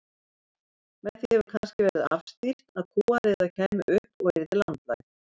Með því hefur kannski verið afstýrt að kúariða kæmi upp og yrði landlæg.